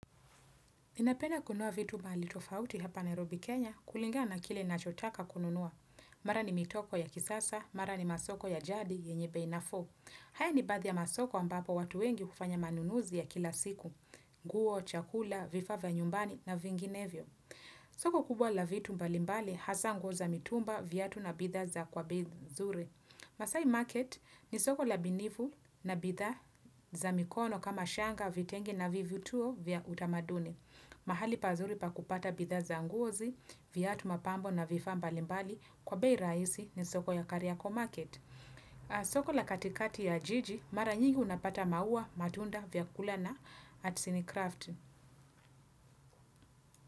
Ninapenda kununua vitu mahali tofauti hapa Nairobi Kenya kulingana na kile nachotaka kununua. Mara ni mitoko ya kisasa, mara ni masoko ya jadi, yenye bei nafuu. Haya ni baadhi ya masoko ambapo watu wengi hufanya manunuzi ya kila siku. Guo, chakula, vifaa vya nyumbani na vinginevyo. Soko kubwa la vitu mbalimbali hasaa nguo za mitumba viatu na bidha za kwa bei nzuri. Masai market ni soko la binifu na bidha za mikono kama shanga vitengi na vituo vya utamaduni. Mahali pazuri pa kupata bidha za ngozi, viatu mapambo na vifaa mbalimbali kwa bei raisi ni soko ya kariyako market. Soko la katikati ya jiji, mara nyingi unapata maua matunda vya kulana at sinicraft.